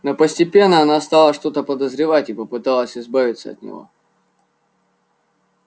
но постепенно она стала что-то подозревать и попыталась избавиться от него